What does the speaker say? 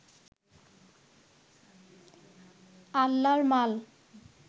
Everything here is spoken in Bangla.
আল্লার মাল